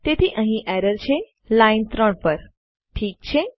તેથી અહીં એરર છે લાઈન ૩ પર ઠીક છે